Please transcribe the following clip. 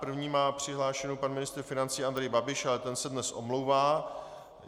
První má přihlášku pan ministr financí Andrej Babiš, ale ten se dnes omlouvá.